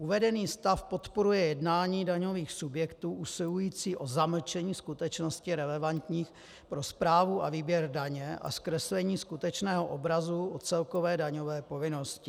Uvedený stav podporuje jednání daňových subjektů usilujících o zamlčení skutečností relevantních pro správu a výběr daně a zkreslení skutečného obrazu o celkové daňové povinnosti.